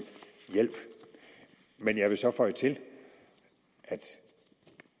hjælp men jeg vil så føje til at